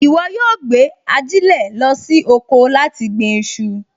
Ìwọ yóò gbé ajílẹ̀ lọ sí oko láti gbin iṣu